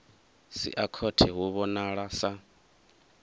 sia khothe hu vhonala sa